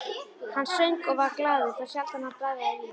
Hann söng og var glaður, þá sjaldan hann bragðaði vín.